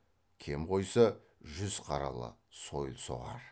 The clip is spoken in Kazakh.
кем қойса жүз қаралы сойылсоғар